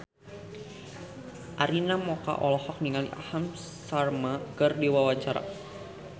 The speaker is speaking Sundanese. Arina Mocca olohok ningali Aham Sharma keur diwawancara